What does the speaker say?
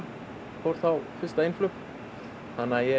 fór þá í fyrsta einflug þannig að ég